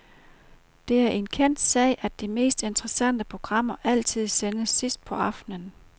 Det er en kendt sag, at de mest interessante programmer altid sendes sidst på aftenen.